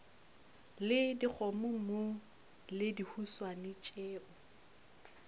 le dikgomommuu le dihuswane tšeo